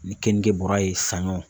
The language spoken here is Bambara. Ni kenige bɔra ye sanɲɔ.